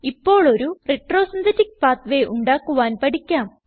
ഇപ്പോൾ ഒരു retro synthetic pathway ഉണ്ടാക്കുവാൻ പഠിക്കാം